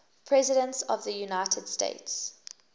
presidents of the united states